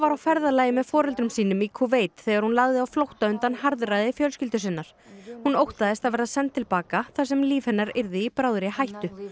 á ferðalagi með foreldrum sínum í Kúveit þegar hún lagði á flótta undan harðræði fjölskyldu sinnar hún óttaðist að verða send til baka þar sem líf hennar yrði í bráðri hættu